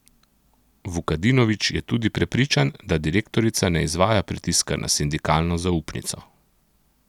Vukadinovič je tudi prepričan, da direktorica ne izvaja pritiska na sindikalno zaupnico.